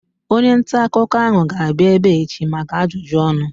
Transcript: Onye ntaakụkọ ahu ga-abịa ebea echi maka ajụjụ ọnụ